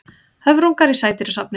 Höfrungur í sædýrasafni.